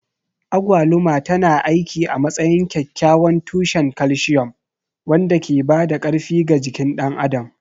Agwaluma tana aiki a matsayin kyakkyawan tushen calcium wanda ke ba da ƙarfi ga jikin ɗan adam.